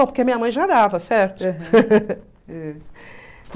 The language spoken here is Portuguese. porque a minha mãe já certo?